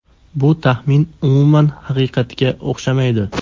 Bu taxmin umuman haqiqatga o‘xshamaydi.